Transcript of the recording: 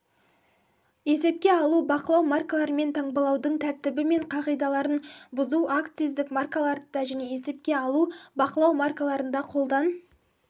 есепке алу-бақылау маркаларымен таңбалаудың тәртібі мен қағидаларын бұзу акциздік маркаларды және есепке алу-бақылау маркаларын қолдан